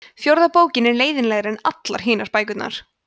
fjórða bókin er leiðinlegri en allar hinar bækurnar